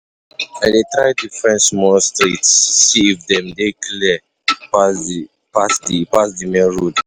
I dey try different small streets, see if dem dey clear pass di pass di main road.